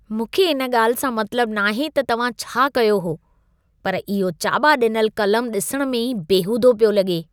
मूंखे इन ॻाल्हि सां मतलबु नाहे त तव्हां छा कयो हो, पर इहो चाॿा ॾिनलु क़लमु ॾिसण में ई बेहूदो पियो लॻे।